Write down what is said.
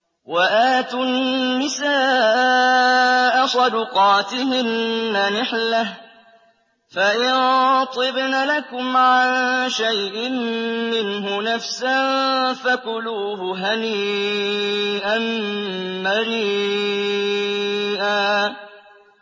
وَآتُوا النِّسَاءَ صَدُقَاتِهِنَّ نِحْلَةً ۚ فَإِن طِبْنَ لَكُمْ عَن شَيْءٍ مِّنْهُ نَفْسًا فَكُلُوهُ هَنِيئًا مَّرِيئًا